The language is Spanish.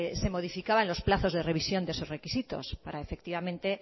se modificaban los plazos de revisión de esos requisitos para efectivamente